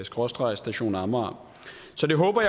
skråstreg station amager så det håber